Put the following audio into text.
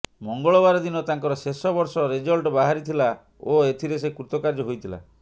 ମଙ୍ଗଳବାର ଦିନ ତାଙ୍କର ଶେଷ ବର୍ଷ ରେଜଲ୍ଟ ବାହାରିଥିଲା ଓ ଏଥିରେ ସେ କୃତକାର୍ଯ୍ୟ ହୋଇଥିଲା